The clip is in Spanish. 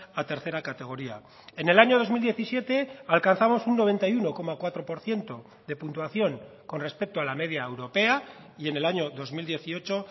a tercera categoría en el año dos mil diecisiete alcanzamos un noventa y uno coma cuatro por ciento de puntuación con respecto a la media europea y en el año dos mil dieciocho